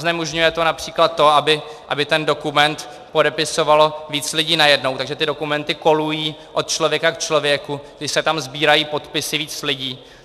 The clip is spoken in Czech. Znemožňuje to například to, aby ten dokument podepisovalo víc lidí najednou, takže ty dokumenty kolují od člověka k člověku, kdy se tam sbírají podpisy víc lidí.